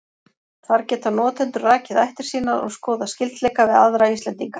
Þar geta notendur rakið ættir sínar og skoðað skyldleika við aðra Íslendinga.